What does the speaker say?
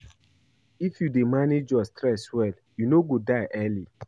If you dey manage your stress well, you no go die early.